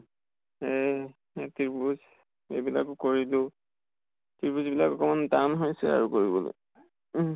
এহ তিৰ্ভুজ এইবিলাকো কৰিলোঁ। তিৰ্ভুজ এইবিলাক অকমান টান হৈছে আৰু কৰিবলৈ উম